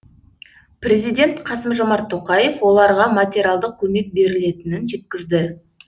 президент қасым жомарт тоқаев оларға материалдық көмек берілетінін жеткізді